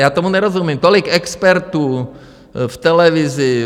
Já tomu nerozumím, tolik expertů v televizi.